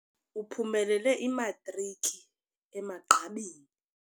Uphumelele imatriki emagqabini.